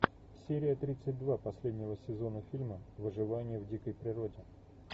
серия тридцать два последнего сезона фильма выживание в дикой природе